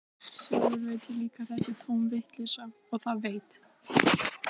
Sjálfur veit ég líka að þetta er tóm vitleysa, og það veit